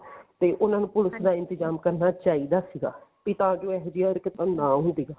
ਤੇ ਉਹਨਾ ਨੂੰ ਪੁਲਸ ਦਾ ਇੰਤਜ਼ਾਮ ਕਰਨਾ ਚਾਹੀਦਾ ਸੀਗਾ ਵੀ ਤਾਂ ਜੋ ਏਹੋ ਜਿਹੀ ਹਰਕਤ ਨਾ ਹੋਵੇ